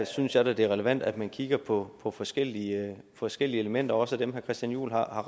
synes jeg da det er relevant at man kigger på på forskellige forskellige elementer også dem herre christian juhl har